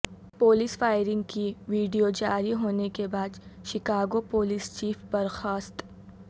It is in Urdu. پولیس فائرنگ کی وڈیو جاری ہونے کے بعد شکاگو پولیس چیف برخاست